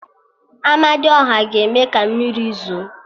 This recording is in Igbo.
Amadiọha ga-eme ka mmiri zo